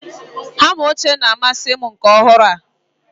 Hama ochie na-amasị m nke ọhụrụ a.